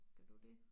Kan du det?